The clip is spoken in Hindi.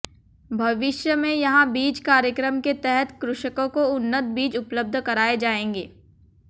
भविष्य में यहां बीज कार्यक्रम के तहत कृषकों को उन्नत बीज उपलब्ध कराये जायेंगे